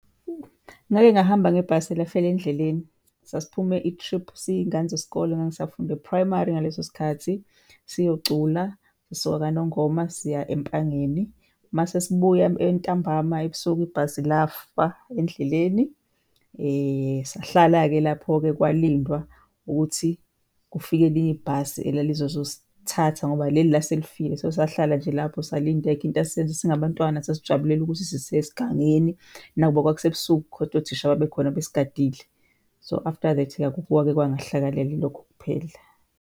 Ngake ngahamba ngebhasi lafela endleleni. Sasiphume i-trip siyiy'ngane zesikole, ngangisafunda e-primary ngaleso sikhathi siyocula sisuka KaNongoma siya Empangeni. Masesibuya ntambama, ebusuku ibhasi lafa endleleni sahlala-ke lapho-ke kwalindwa ukuthi kufike elinye ibhasi elalizozosithatha ngoba leli lase lifile. So, sahlala nje lapho salinda, ayikho into esasizoyenza singabantwana sasijubulela ukuthi sisesigangeni, nakuba kwakusebusuku khodwa othisha babe khona basigadile. So, after that-ke akukho okwake kwangehlakalela, yilokho kuphela.